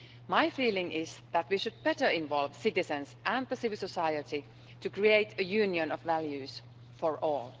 My feeling is that we should better involve citizens and civil society to create a union of values for all.